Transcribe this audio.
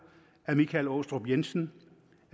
michael aastrup jensen